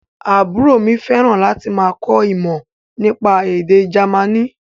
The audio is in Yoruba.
Àbúrò mi fẹ́ràn láti máa kọ́ ìmọ̀ nípa èdè Jamaní